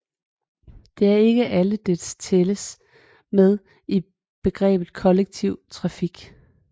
Det er ikke alle dele tælles med i begrebet kollektiv trafik